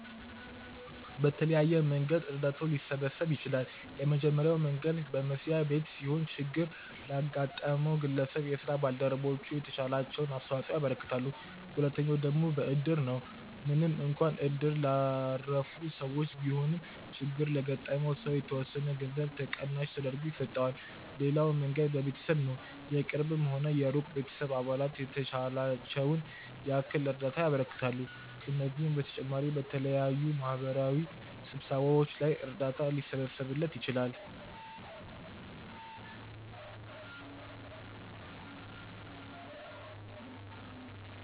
በተለያየ መንገድ እርዳታው ሊሰበሰብ ይችላል። የመጀመሪያው መንገድ በመስሪያ ቤት ሲሆን ችግር ላጋጠመው ግለሰብ የስራ ባልደረቦቹ የተቻላቸውን አስተዋጽኦ ያበረክታሉ። ሁለተኛው ደግሞ በእድር ነው፤ ምንም እንኳን እድር ላረፉ ሰዎች ቢሆንም ችግር ለገጠመው ሰው የተወሰነ ገንዘብ ተቀናሽ ተደርጎ ይሰጠዋል። ሌላው መንገድ በቤተሰብ ነው፤ የቅርብም ሆነ የሩቅ ቤተሰብ አባላት የተቻላቸውን ያክል እርዳታ ያበረክታሉ። ከነዚህም በተጨማሪ በተለያዩ የማህበራዊ ስብሰባዎች ላይ እርዳታ ሊሰበሰብለት ይችላል።